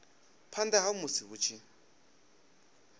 phanda ha musi hu tshi